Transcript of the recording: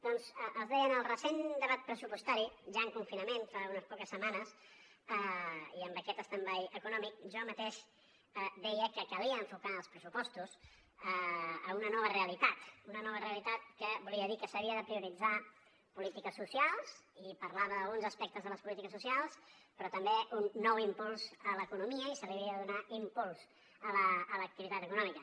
doncs els deia en el recent debat pressupostari ja en confinament fa unes poques setmanes i amb aquest stand by econòmic jo mateix deia que calia enfocar els pressupostos a una nova realitat una nova realitat que volia dir que s’havien de prioritzar polítiques socials i parlava d’alguns aspectes de les polítiques socials però també un nou impuls a l’economia i se li havia de donar impuls a l’activitat econòmica